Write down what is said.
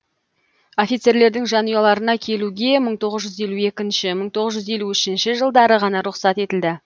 офицерлердің жанұяларына келуге мың тоғыз жүз елу екінші мың тоғыз жүз елу үшінші жылдары ғана рұқсат етілді